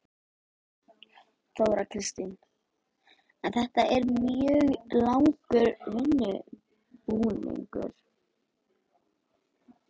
Þóra Kristín: En þetta er mjög langur undirbúningur?